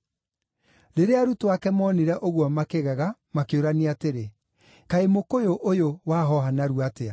Rĩrĩa arutwo ake moonire ũguo makĩgega, makĩũrania atĩrĩ, “Kaĩ mũkũyũ ũyũ wahooha narua atĩa?”